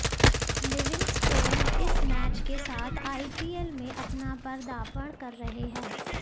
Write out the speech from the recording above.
Livingstone इस match के साथ आईपीएल में अपना पर्दापण कर रहे हैं